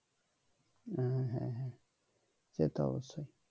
ও হ্যাঁ হ্যাঁ সেতো অবশ্যই